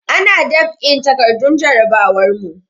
Ana dab'in takardun jarabawar mu.